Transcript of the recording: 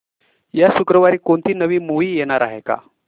या शुक्रवारी कोणती नवी मूवी येणार आहे का